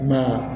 I m'a ye